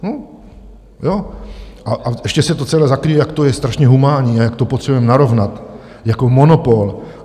A ještě se to celé zakryje, jak to je strašně humánní a jak to potřebujeme narovnat jako monopol.